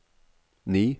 ni